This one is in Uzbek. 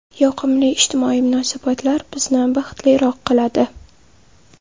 Yoqimli ijtimoiy munosabatlar bizni baxtliroq qiladi.